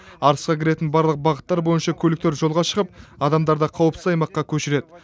арысқа кіретін барлық бағыттар бойынша көліктер жолға шығып адамдарды қауіпсіз аймаққа көшіреді